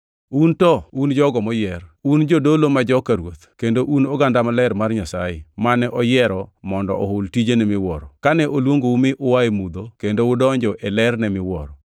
Un to un jogo moyier. Un jodolo ma joka Ruoth kendo un oganda maler mar Nyasaye mane oyiero mondo ohul tijene miwuoro, kane oluongou mi ua e mudho kendo udonjo e lerne miwuoro.